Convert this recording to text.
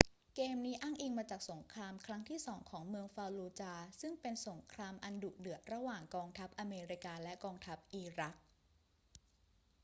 เกมนี้อ้างอิงมาจากสงครามครั้งที่สองของเมืองฟัลลูจาห์ซึ่งเป็นสงครามอันดุเดือดระหว่างกองทัพอเมริกาและกองทัพอิรัก